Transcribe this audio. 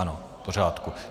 Ano, v pořádku.